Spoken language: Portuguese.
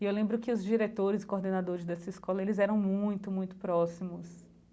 E eu lembro que os diretores e coordenadores dessa escola, eles eram muito, muito próximos.